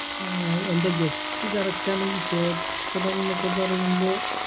ഏർ എന്റെ guess correct ആണെങ്കി ക്ഷേത്രംന്നൊക്കെ പറയുമ്പോ